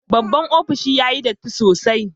Babban opishin yayi datti sosai.